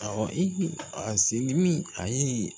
Awɔ a seli ni a ye